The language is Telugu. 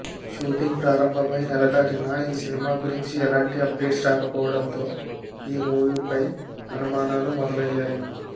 షూటింగ్ ప్రారంభమై నెల దాటినా ఈ సినిమా గురించి ఎలాంటి అప్డేట్స్ రాకపోవడంతో ఈ మూవీపై అనుమానాలు మొదలయ్యాయి